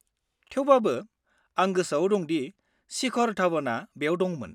-थेवबाबो, आं गोसोआव दं शिखर धवनआ बेयाव दंमोन।